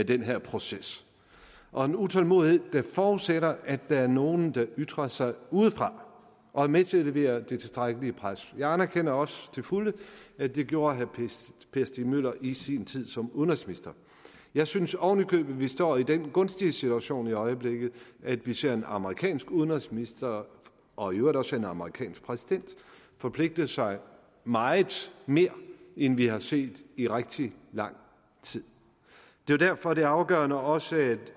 den her proces og en utålmodighed der forudsætter at der er nogle der ytrer sig udefra og er med til at levere det tilstrækkelige pres jeg anerkender også til fulde at det gjorde herre per stig møller i sin tid som udenrigsminister jeg synes oven i købet at vi står i den gunstige situation i øjeblikket at vi ser en amerikansk udenrigsminister og i øvrigt også en amerikansk præsident forpligte sig meget mere end vi har set i rigtig lang tid det er derfor det er afgørende at også